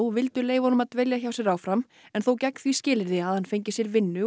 vildu leyfa honum að dvelja hjá sér áfram en þó gegn því skilyrði að hann fengi sér vinnu og